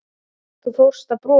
Og þú fórst að brosa.